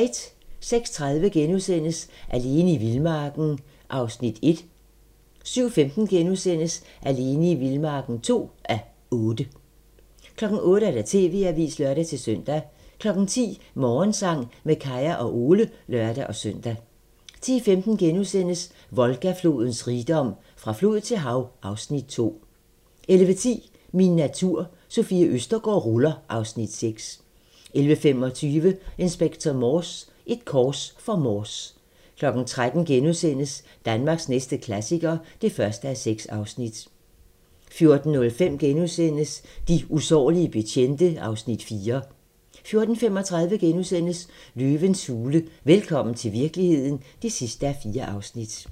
06:30: Alene i vildmarken (1:8)* 07:15: Alene i vildmarken (2:8)* 08:00: TV-avisen (lør-søn) 10:00: Morgensang med Kaya og Ole (lør-søn) 10:15: Volga-flodens rigdom: Fra flod til hav (Afs. 2)* 11:10: Min natur - Sofie Østergaard ruller (Afs. 6) 11:25: Inspector Morse: Et kors for Morse 13:00: Danmarks næste klassiker (1:6)* 14:05: De usårlige betjente (Afs. 4)* 14:35: Løvens hule – velkommen til virkeligheden (4:4)*